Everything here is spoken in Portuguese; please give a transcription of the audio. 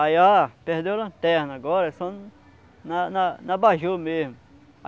Aí, ó, perdeu a lanterna agora, só na na na abajur mesmo.